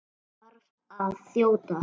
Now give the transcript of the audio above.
Ég þarf að þjóta.